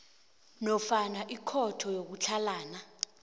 nofana ikhotho yokutlhalana